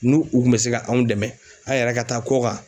Nu u kun bɛ se ka anw dɛmɛn an yɛrɛ ka taa kɔkan.